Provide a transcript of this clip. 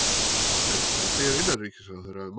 En hvað segir innanríkisráðherra um málið?